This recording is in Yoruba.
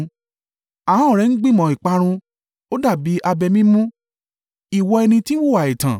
Ahọ́n rẹ̀ ń gbìmọ̀ ìparun; ó dàbí abẹ mímú, ìwọ ẹni tí ń hùwà ẹ̀tàn.